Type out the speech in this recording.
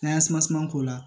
N'an y'an k'o la